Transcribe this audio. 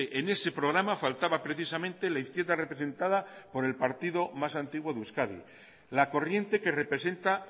en ese programa faltaba precisamente la izquierda representada por el partido más antiguo de euskadi la corriente que representa